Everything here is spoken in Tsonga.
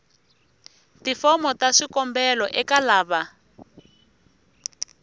tifomo ta swikombelo eka lava